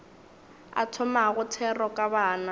a thomago thero ka bana